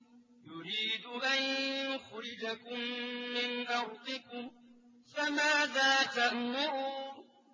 يُرِيدُ أَن يُخْرِجَكُم مِّنْ أَرْضِكُمْ ۖ فَمَاذَا تَأْمُرُونَ